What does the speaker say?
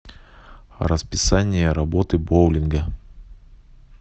расписание работы боулинга